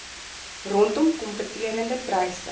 rondom kompeterende pryse